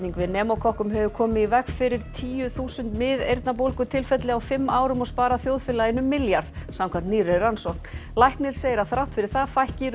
við pneumókokkum hefur komið í veg fyrir tíu þúsund miðeyrnabólgu tilfelli á fimm árum og sparað þjóðfélaginu einn milljarð samkvæmt nýrri rannsókn læknir segir að þrátt fyrir það fækki